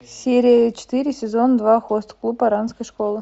серия четыре сезон два хост клуб оранской школы